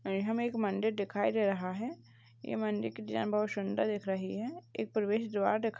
ये हमे एक मंदिर दिखाई दे रहा है। यह मंदिर की डिजाइन बहुत सुंदर दिख रही है। एक प्रवेश द्वार दिख --